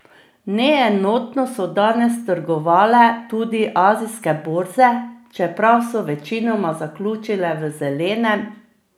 Neenotno so danes trgovale tudi azijske borze, čeprav so večinoma zaključile v zelenem.